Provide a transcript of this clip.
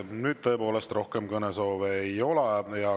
Nüüd tõepoolest rohkem kõnesoove ei ole.